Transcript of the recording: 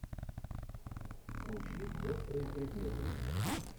включи острые предметы